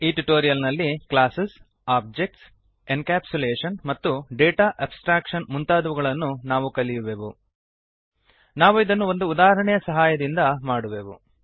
ಈ ಟ್ಯುಟೋರಿಯಲ್ ನಲ್ಲಿ classes objects encapsulation ಮತ್ತು ಡೇಟಾ ಆಬ್ಸ್ಟ್ರಾಕ್ಶನ್ ಮುಂತಾದವುಗಳನ್ನು ನಾವು ಕಲಿಯುವೆವು ನಾವು ಇದನ್ನು ಒಂದು ಉದಾಹರಣೆಯ ಸಹಾಯದಿಂದ ಮಾಡುವೆವು